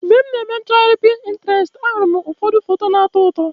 Mgbe m na-eme nchọgharị Pinterest, ahụrụ m foto ụfọdụ na-atọ ụtọ.